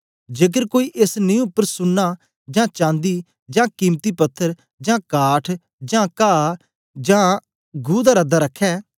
जेकर कोई एस नीं उपर सुन्ना जां चांदी जां कीमती पत्थर जां काठ जां काह जां घु दा रद्दा रखै